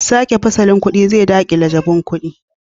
Sake fasalin kudin zai dakile jabun kudin